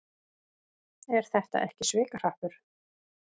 Er þetta ekki svikahrappur?